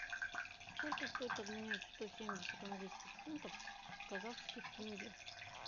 сколько стоит обменять сто семьдесят английских фунтов в казахских тенге